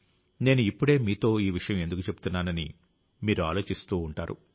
నేను ఇప్పుడే మీతో ఈ విషయం ఎందుకు చెబుతున్నానని మీరు ఆలోచిస్తూ ఉంటారు